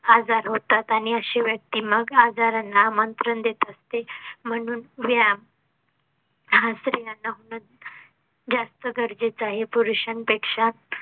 आजार होतात आणि अशी व्यक्ती मग आजारांना आमंत्रण देत असते म्हणून व्यायाम हां स्रियांना हून जास्त गरजेचं आहे. पुरुषां पेक्षा